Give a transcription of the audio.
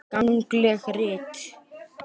Gagnleg rit